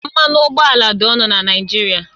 Mmanụ ụgbọala dị ọnụ na Naịjirịa